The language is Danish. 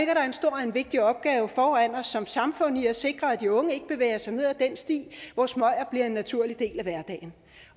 og en vigtig opgave foran os som samfund i at sikre at de unge ikke bevæger sig ned ad den sti hvor smøger bliver en naturlig del af hverdagen